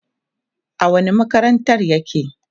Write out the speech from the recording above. a wani makarantar yake?